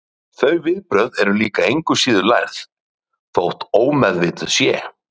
Þau viðbrögð eru líklega engu síður lærð, þótt ómeðvituð séu.